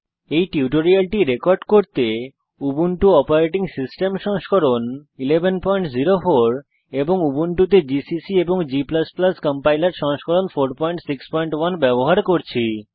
এই টিউটোরিয়ালটি রেকর্ড করতে আমি উবুন্টু অপারেটিং সিস্টেম সংস্করণ 1104 এবং উবুন্টুতে জিসিসি এবং g কম্পাইলার সংস্করণ 461 ব্যবহার করছি